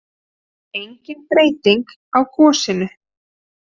Engin breyting á gosinu